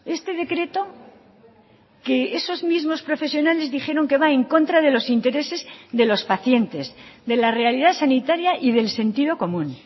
este decreto que esos mismos profesionales dijeron que va en contra de los intereses de los pacientes de la realidad sanitaria y del sentido común